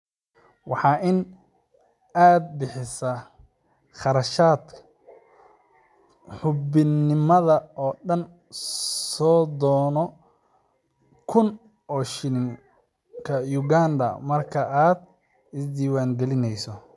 Waa in aad bixisa kharashka xubinnimada oo dhan sodon kun oo shilinka Uganda marka aad isdiiwaangelinayso.